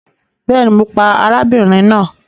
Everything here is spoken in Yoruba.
Bẹẹni, Mo pa arábìnrin náà